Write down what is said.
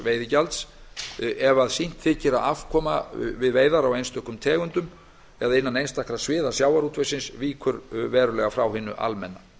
veiðigjalds ef sýnt þykir að afkoma við veiðar á einstökum tegundum eða innan einstakra sviða sjávarútvegsins víkur verulega frá hinu almenna